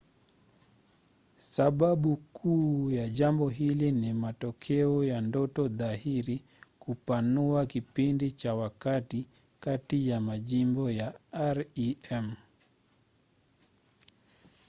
sababu kuu ya jambo hili ni matokeo ya ndoto dhahiri kupanua kipindi cha wakati kati ya majimbo ya rem